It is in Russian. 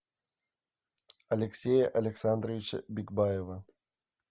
алексея александровича бикбаева